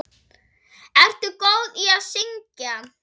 Ertu góð í að syngja?